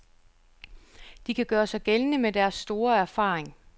De kan gøre sig gældende med deres store erfaring.